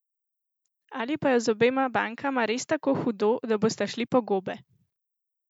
Ali pa je z obema bankama res tako hudo, da bosta šli po gobe?